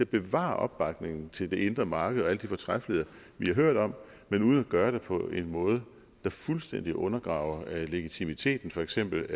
bevare opbakningen til det indre marked og alle de fortræffeligheder vi har hørt om men uden at gøre det på en måde der fuldstændig undergraver legitimiteten for eksempel